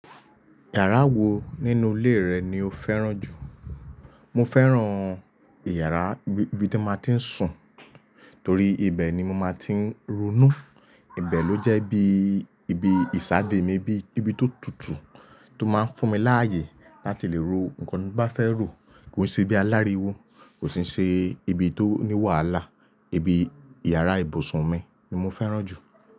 IYàrá wo nínú ilé rẹ ni o fẹ́ràn jù? Mo fẹ́ràn ìyàrá ibi tí mo ti ń sùn, torí ibẹ̀ ni mo máa ti ń ronú. Ibẹ̀ ló jẹ́ bí ibi ìsàdé mi, bí ibi tó tutù tó máa ń fún mi láàyè láti lè ro nǹkan tí mo bá fẹ́ rò. Kò sí bí aláriwo, kò sì ṣe ibi tó ní wàhálà. Ibi ìyàrá ìbùsùn mi ni mo fẹ́ràn jù.